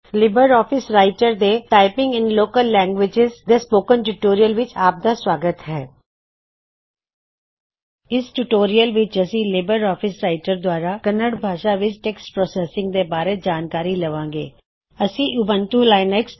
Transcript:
Libre office Writer ਦੇ typing in local languages ਦੇ tutorial ਵਿਚ ਆਪ ਦਾ ਸੁਆਗਤ ਹੈ ਇਸ ਟਿਊਟੋਰਿਯਲ ਵਿੱਚ ਅਸੀ ਲਿਬਰ ਆਫਿਸ ਰਾਇਟਰ ਦੁਆਰਾ ਪੰਜਾਬੀਪੰਜਾਬੀ ਗੁਰਮੁਖੀ ਭਾਖਾ ਵਿੱਚ ਟੈੱਕਸਟ ਪਰੋਸੈੱਸਿੰਗਟੈਕਸਟ ਪ੍ਰੋਸੈਸਿੰਗ ਦੇ ਬਾਰੇ ਜਾਣਕਾਰੀ ਲਵਾਂ ਗੇ